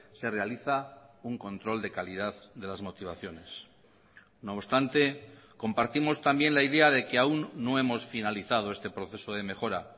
se realiza un control de calidad de las motivaciones no obstante compartimos también la idea de que aún no hemos finalizado este proceso de mejora